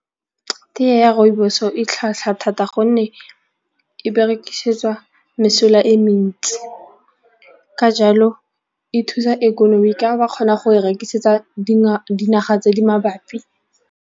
Tee ya rooibos-o e tlhwatlhwa thata gonne e berekisetsa mesola e mentsi ka jalo e thusa ikonomi ka ba kgona go e rekisetsa dinaga tse di mabapi.